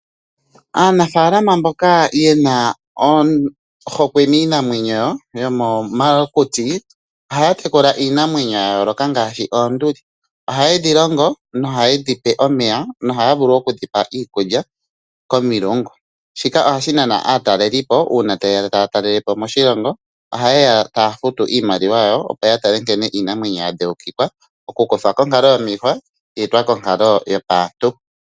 Aanafaalama mboka yena ohokwe niinamwenyo yomomakuti ohaya tekula iinamwenyo yayooloka ngaashi oonduli. Ohayedhi longo, nohayedhi pe omeya niikulya komilungu. Shika ohashi nana aatalelipo uuna tayeya taya talelepo moshilongo ohayeya taya futu iimaliwa yawo, opo yeye yatale nkene iinamwenyo yadheukikwa, okukuthwa konkalo yomiihwa, yeetwa konkalo yopaantu.